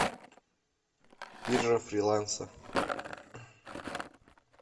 биржа фриланса